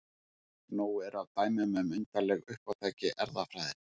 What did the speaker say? Nóg er af dæmum um undarleg uppátæki erfðafræðinnar.